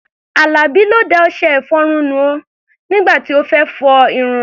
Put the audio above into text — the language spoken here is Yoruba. Àlàbí ló da ọṣẹ-ìfọrun nù o nígbà tí ó fẹ́ fọ irun rẹ̀.